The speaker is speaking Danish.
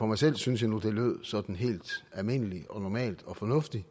mig selv synes jeg nu det lød sådan helt almindeligt og normalt og fornuftigt